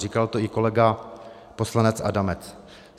Říkal to i kolega poslanec Adamec.